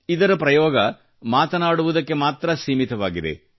ಇದರ ಪ್ರಯೋಗ ಮಾತನಾಡುವುದಕ್ಕೆ ಮಾತ್ರ ಸೀಮಿತವಾಗಿದೆ